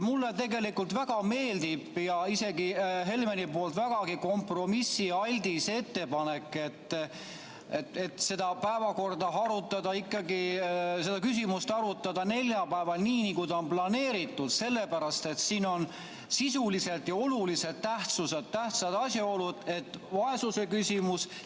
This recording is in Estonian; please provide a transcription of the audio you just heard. Mulle tegelikult isegi väga meeldib Helmeni vägagi kompromissialdis ettepanek, et seda küsimust arutada ikkagi neljapäeval, nii nagu ta on planeeritud, sellepärast et siin on sisuliselt ja oluliselt tähtsad asjaolud, nagu vaesuse küsimus.